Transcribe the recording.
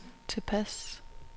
tilpas